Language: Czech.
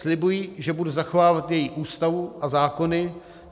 Slibuji, že budu zachovávat její Ústavu a zákony.